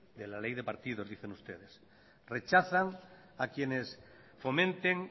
de la ley de partidos dicen ustedes rechazan a quienes fomenten